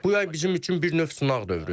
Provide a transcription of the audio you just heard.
Bu yay bizim üçün bir növ sınaq dövrüdür.